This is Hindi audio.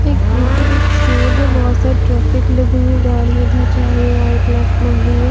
एक बीचो बीच रोड है बहोत सारी ट्रैफिक लगी हुई है गाड़ी इधर जा रही है राइट लेफ्ट मुड़ रही हैं।